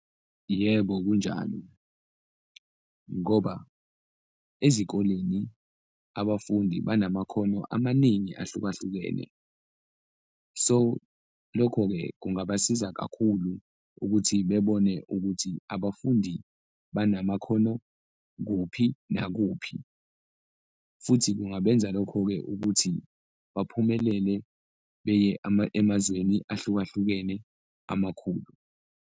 Yebo kunjalo ngoba ezikoleni abafundi banamakhono amaningi ahlukahlukene, so lokho-ke kungabasiza kakhulu ukuthi bebone ukuthi abafundi banamakhono kuphi nakuphi futhi kungabenza lokho-ke ukuthi baphumelele beye emazweni ahlukahlukene amakhulu.